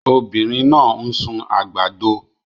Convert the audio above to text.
Obinrin naa n sun agbado